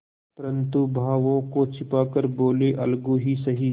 परंतु भावों को छिपा कर बोलेअलगू ही सही